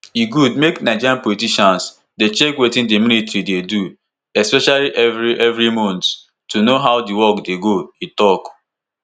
"e good make nigerian politicians dey check wetin di military dey do especially evri evri month to know how di work dey go" e tok.